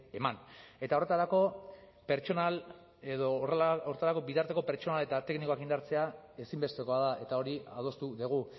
eman eta horretarako pertsonal edo horretarako bitarteko pertsonal eta teknikoak indartzea ezinbestekoa da eta hori adostu dugu